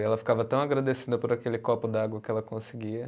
E ela ficava tão agradecida por aquele copo de água que ela conseguia.